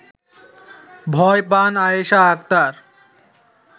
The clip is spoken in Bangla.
ভয় পান আয়েশা আক্তার